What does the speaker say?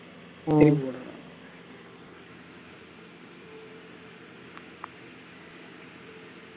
உம்